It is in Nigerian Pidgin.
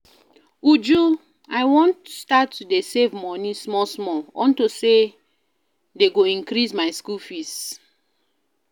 Uju I wan start to dey save money small small unto say dey go increase my school fees